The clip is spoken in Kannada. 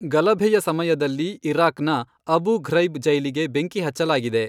ಗಲಭೆಯ ಸಮಯದಲ್ಲಿ ಇರಾಕ್ನ ಅಬು ಘ್ರೈಬ್ ಜೈಲಿಗೆ ಬೆಂಕಿ ಹಚ್ಚಲಾಗಿದೆ.